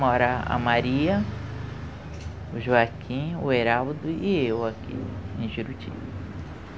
Moram a Maria, o Joaquim, o Heraldo e eu aqui em Juruti.